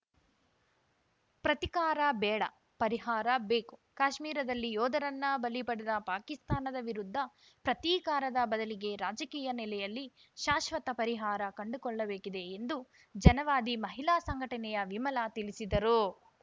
ಪ್ರತಿಕಾರ ಬೇಡ ಪರಿಹಾರ ಬೇಕು ಕಾಶ್ಮೀರದಲ್ಲಿ ಯೋಧರನ್ನ ಬಲಿಪಡೆದ ಪಾಕಿಸ್ತಾನದ ವಿರುದ್ಧ ಪ್ರತೀಕಾರದ ಬದಲಿಗೆ ರಾಜಕೀಯ ನೆಲೆಯಲ್ಲಿ ಶಾಶ್ವತ ಪರಿಹಾರ ಕಂಡುಕೊಳ್ಳಬೇಕಿದೆ ಎಂದು ಜನವಾದಿ ಮಹಿಳಾ ಸಂಘಟನೆಯ ವಿಮಲಾ ತಿಳಿಸಿದರು